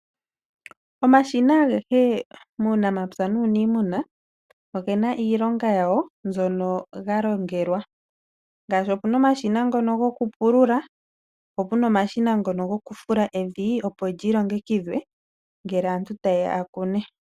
Omashina agehe muunamapya nuuniimuna ogena iilonga yawo mbyono galongelwa. Ngaashi opuna omashina ngono gokupulula, po puna omashina ngono gokufula evi opo lyi longekidhwe ngele aantu taye ya yakune.